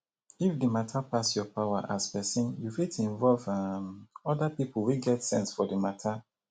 if di matter pass your power as person you fit involve um oda pipo wey get sense for di matter